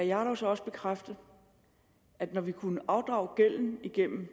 jarlov så også bekræfte at når vi kunne afdrage gælden igennem